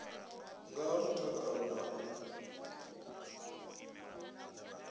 nga ha mutakalo na u